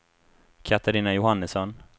Catarina Johannesson